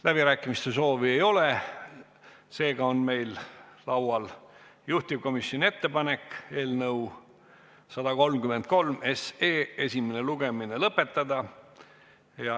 Läbirääkimiste soovi ei ole, seega on meil laual juhtivkomisjoni ettepanek eelnõu 133 esimene lugemine lõpetada.